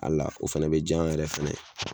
A la o fɛnɛ bi jan yɛrɛ fɛnɛ ye